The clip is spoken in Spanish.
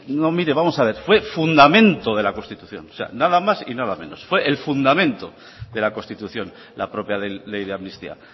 no mire vamos a ver fue fundamento de la constitución o sea nada más y nada menos fue el fundamento de la constitución la propia ley de amnistía